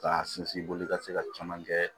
K'a sinsin i bolo ka se ka caman kɛ